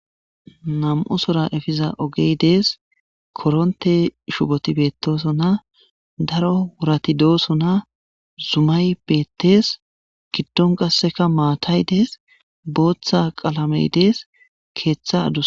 nam7o sora efiza ogey dees koronte shuboti betoso na daro wurati dooso na zumay beettees giddon qasseka maatay dees booththa qalamey dees keeththa adus